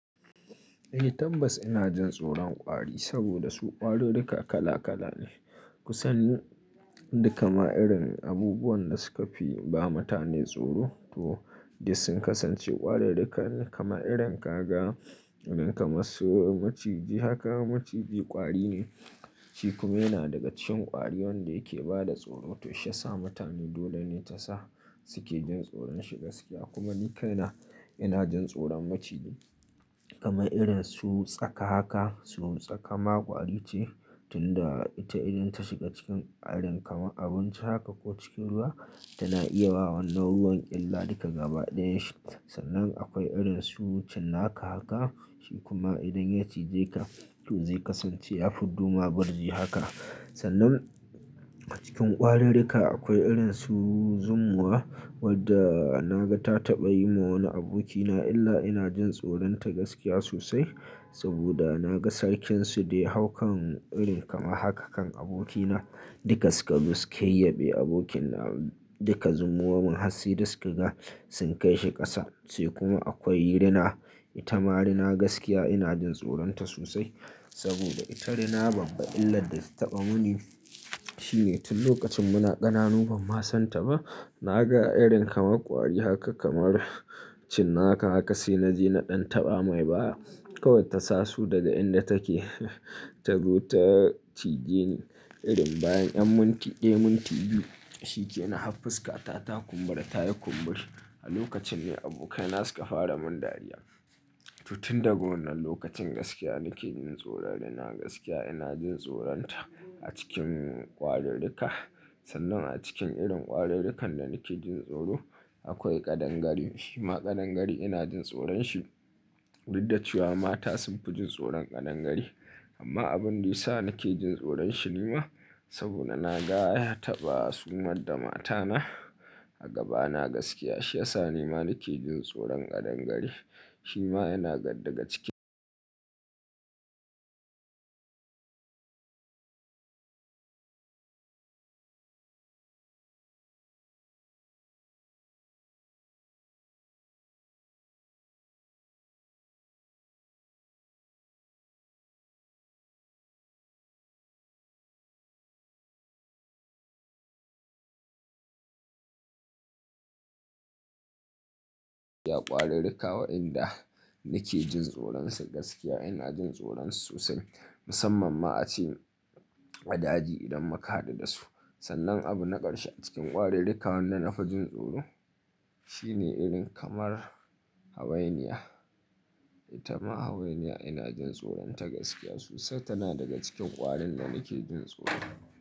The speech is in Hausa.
Ni tambas ina jin tsoron ƙwari saboda su ƙwarirrika kala kala ne. Kusan duka ma'irin abubuwan da suka fi ba mutane tsoro to duk sun kasance ƙwarirrika ne kamar irin kaga, irin kamar su maciji haka maciji ƙwari ne. Shi kuma yana daga cikin ƙwari wanda yake ba da tsoro. To shi ya sa mutane dole ne ta sa suke jin tsoron shi gaskiya kuma ni kai na ina jin tsoron maciji kamar irin su tsaka haka. Su tsaka ma ƙwari ce tunda ita idan ta shiga cikin irin kamar abinci haka ko cikin ruwa tana iya wa wannan ruwan ƙyalla duka gaba ɗayan shi. Sannan akwai irin su cinnaka haka shi kuma idan ya cije ka to zai kasance ya fi dumama birji haka. Sannan a cikin ƙwarirrika akwai irin su zumuwa wadda na ga ta taɓa yi ma wani abokina illa ina jin tsoron ta gaskiya sosai saboda na ga sarkin su dai haukan irin kamar haka kan abokina dukaska duk suke yabe abokina duka zumuwarmun hatsi duk suka ga sun kai shi ƙasa. Sai kuma akwai rina ita ma rina gaskiya ina jin tsoron ta sosai saboda ita rina babba illa da ta taɓa muni. To ita locacin mu na kananu, ban ma san ta ba na ga irin kamar ƙwari haka kamar cinnaka haka sai na je na ɗan taɓa mai baya. Kawai ta sa su daga inda take ta zo ta cije ni irin bayan ƴan minti, eh minti biyu shi ke na hafi fuska ta ta kumbura ta yi kumburi. A lokacin ne abokaina suka fara mun dariya. To tun daga wannan lokacin gaskiya nake jin tsoro da rina gaskiya ina jin tsoron ta a cikin ƙwarirrika. Sannan a cikin irin ƙwarirrikan da nake jin tsoro akwai ƙadangari. Shi ma ƙadangari ina jin tsoron shi. Ruɗe cewa mata sun fi jin tsoron ƙadangari amma abin da ya sa nake jin tsoron shi ne ma saboda na ga ya taɓa sumar da mata na a gaba na gaskiya shi ya sa ni ma nake jin tsoron ƙadangari. Shi ma yana daga cikin ƙwarirrika waɗanda nake jin tsoron su gaskiya ina jin tsoron su sosai musamman ma a ci wa daji idan muka haɗu da su. Sannan abu na ƙarshe a cikin ƙwarirrika wanda na fi jin tsoro shi ne irin kamar hawainiya. Ita ma hawainiya ina jin tsoron ta gaskiya sosai tana daga cikin ƙwarin da nake jin tsoro.